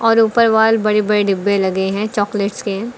और ऊपर वल बड़े बड़े डिब्बे लगे हैं चॉकलेट्स के।